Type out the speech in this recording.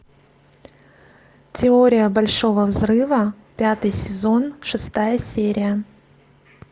теория большого взрыва пятый сезон шестая серия